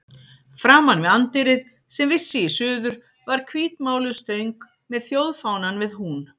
Framan við anddyrið, sem vissi í suður, var hvítmáluð stöng með þjóðfánann við hún.